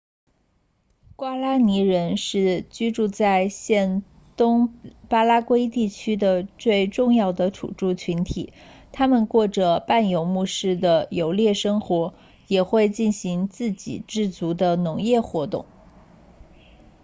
瓜拉尼人 guaraní 是居住在现东巴拉圭地区的最重要的土著群体他们过着半游牧式的游猎生活也会进行自给自足的农业活动